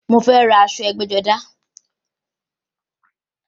Mo fẹ́ ra aṣọ ẹgbẹ́-jọdá.